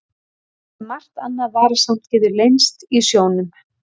Auk þess sem margt annað varasamt getur leynst í sjónum.